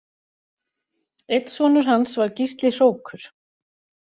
Einn sonur hans var Gísli hrókur